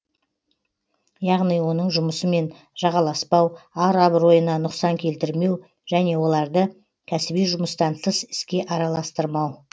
яғни оның жұмысымен жағаласпау ар абыройына нұқсан келтірмеу және оларды кәсіби жұмыстан тыс іске араластырмау